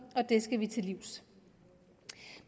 og det skal vi til livs